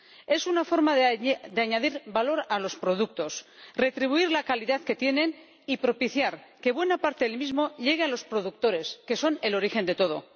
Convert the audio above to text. Es una forma de añadir valor a los productos, retribuir la calidad que tienen y propiciar que buena parte del mismo llegue los productores, que son el origen de todo.